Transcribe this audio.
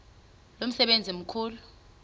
lo msebenzi mkhulu